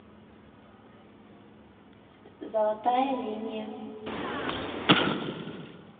золотая линия